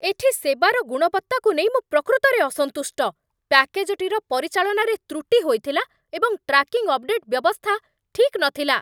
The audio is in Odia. ଏଠି ସେବାର ଗୁଣବତ୍ତାକୁ ନେଇ ମୁଁ ପ୍ରକୃତରେ ଅସନ୍ତୁଷ୍ଟ। ପ୍ୟାକେଜଟିର ପରିଚାଳନାରେ ତ୍ରୁଟି ହୋଇଥିଲା, ଏବଂ ଟ୍ରାକିଂ ଅପଡେଟ୍ ବ୍ୟବସ୍ଥା ଠିକ୍ ନଥିଲା!